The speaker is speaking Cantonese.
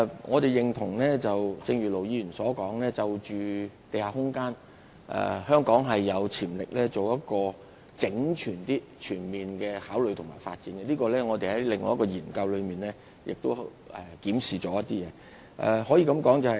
我們認同盧議員所說，在地下空間方面，香港有潛力進行整全、全面的考慮和發展，就此我們已在另一項研究中進行檢視。